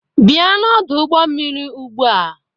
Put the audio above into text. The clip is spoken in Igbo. Bịa n'ọdụ ụgbọ mmiri ugbu a